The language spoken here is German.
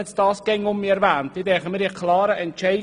Ich glaube, wir haben einen klaren Entscheid gehabt.